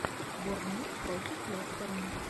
борнмут против лестера